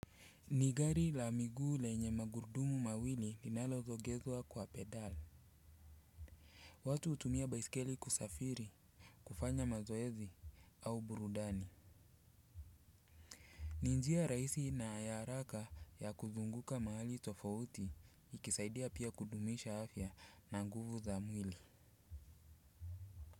Ni gari la miguu lenye magurdumu mawili linalo sogezwa kwa pedal. Watu hutumia baisikeli kusafiri kufanya mazoezi au burudani. Ni njia rahisi na ayaraka ya kuzunguka mahali tofauti ikisaidia pia kudumisha afya na nguvu za mwili.